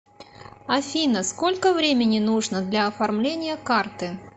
афина сколько времени нужно для оформления карты